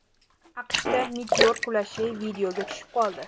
AQShda meteor qulashi videoga tushib qoldi .